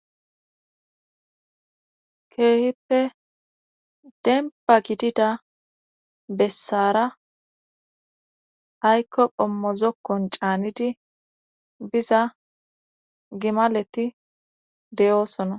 Keehippe dempa gidida bessaara aykko ommozokkon caanidi biza gimaleti de'oosona